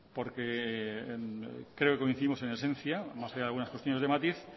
porque creo que coincidimos en esencia más que en algunas cuestiones de matiz